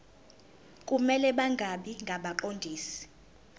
kumele bangabi ngabaqondisi